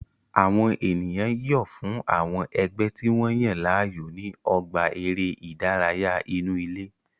Àwọn ènìyàn yọ̀ fún àwọn ẹgbẹ́ tí wọ́n yàn láàyò ní ọgbà eré ìdárayá inú ilé